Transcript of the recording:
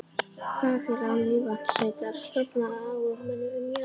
Baðfélag Mývatnssveitar stofnað af áhugamönnum um jarðböð.